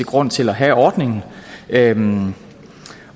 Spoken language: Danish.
grund til at have ordningen